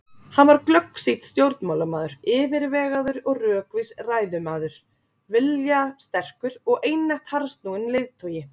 Hann var glöggsýnn stjórnmálamaður, yfirvegaður og rökvís ræðumaður, viljasterkur og einatt harðsnúinn leiðtogi.